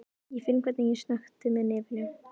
Ég finn hvernig ég snökti með nefinu.